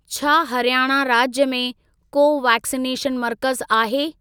छा हरियाणा राज्य में को वैक्सिनेशन मर्कज़ आहे?